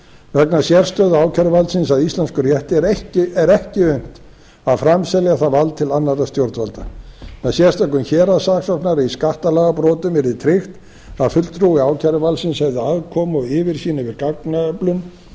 vegna sérstöðu ákæruvaldsins á íslenskum rétti er ekki unnt að framselja það vald til annarra stjórnvalda með sérstökum héraðssaksóknara í skattalagabrotum yrði tryggt að fulltrúi ákæruvaldsins hefði aðkomu og yfirsýn yfir